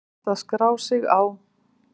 Hægt að skrá sig á